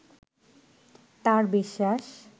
তার বিশ্বাস